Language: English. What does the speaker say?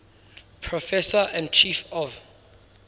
professor and chief of